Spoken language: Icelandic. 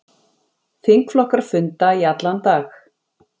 Þingflokkar funda í allan dag